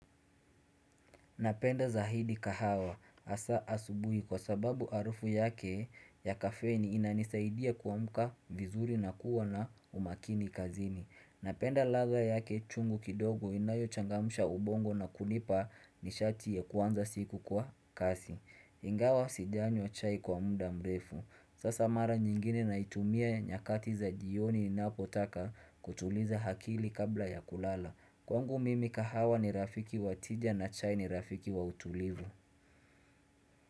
Napenda zahidi kahawa. Asa asubuhi kwa sababu arufu yake ya kafeni inanisaidia kuamka vizuri na kuwa na umakini kazini. Napenda ladha yake chungu kidogo inayochangamsha ubongo na kunipa nishati ya kuanza siku kwa kasi. Ingawa sijanywa chai kwa munda mrefu. Sasa mara nyingine naitumia nyakati za jioni ninapotaka kutuliza akili kabla ya kulala. Kwangu mimi kahawa ni rafiki wa tija na chai ni rafiki wa utulivu.